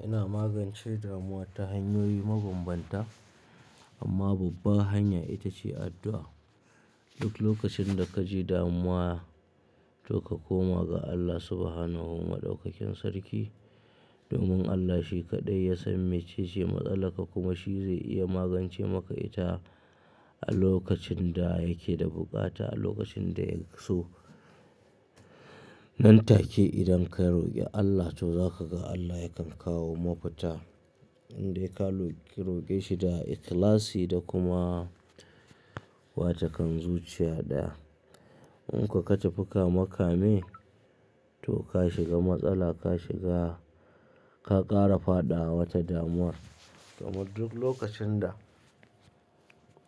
Yana magance damuwa ta hanyoyi mabambanta amma babba hanya ita ce addu'a. Duk lokacin da ka ji damuwa to ka koma ga Allah Subhanahu wa maɗaukakin sarki. Domin Allah shi kaɗai ya san mece ce matsalar ka kuma shi zai iya magance maka ita a lokacin da yake da bukata, a lokacin da ya so. Nan take idan ka roke Allah to za ka ga Allah yakan kawo mafita. Indai ka roke shi da ikhlasi da kuma wata kan zuciya daya. In ka tafi ka makame to ka shiga matsala ka shiga, ka ƙara fadawa wata damuwa. Domin duk lokacin da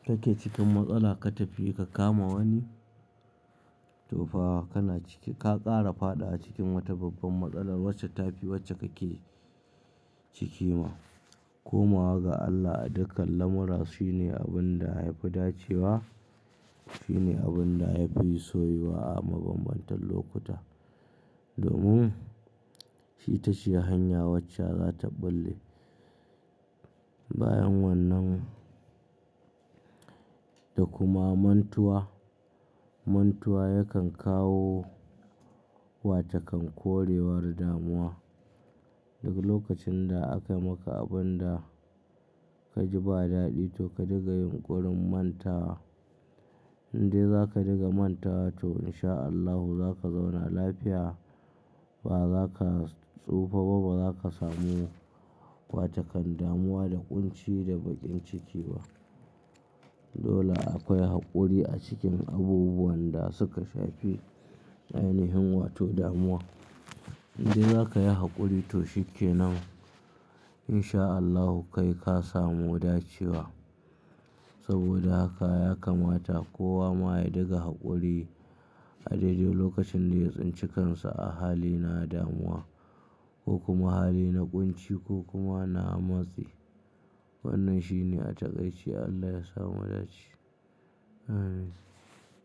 kake cikin matsala ka tafi ka kama wani tofa kana ciki, ka ƙara fadawa cikin wata babban matsala wacce tafi wacce kake ciki ma. Komawa ga Allah a dukkan lamura shi ne abin da ya fi dacewa, shi ne abin da ya fi soyuwa a mabambantan lokuta. Domin itace hanya wacce za ta ɓulle bayan wannan. Da kuma mantuwa, mantuwa yakan kawo wata kan korewar damuwa. Duk lokacin da aka maka abun da ka ji ba daɗi to ka diga yunƙurin manta. Indai za ka riga mantawa to insha Allahu za ka zauna lafiya. Ba za ka tsufa ba, ba za ka samu wata kan damuwa da ƙunci da baƙin ciki ba. Dole akwai haƙuri a cikin abubuwan da suka shafi ainihin wato damuwa. Indai za kayi haƙuri to shi kenan insha Allahu kai ka samu dacewa. Saboda haka ya kamata kowa ma ya diga haƙuri a dai dai lokacin da ya tsinci kansa a hali na damuwa ko kuma hali na ƙunci ko kuma na matsi. Wannan shi ne a takaice Allah ya samu dace.